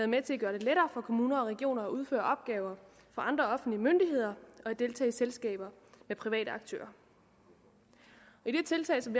med til at gøre det lettere for kommuner og regioner at udføre opgaver for andre offentlige myndigheder og at deltage i selskaber med private aktører i det tiltag som